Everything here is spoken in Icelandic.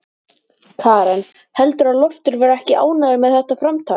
Karen: Heldurðu að Loftur verði ekki ánægður með þetta framtak?